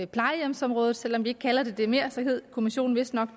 plejehjemsområdet selv om vi ikke kalder det det mere hed kommissionen vistnok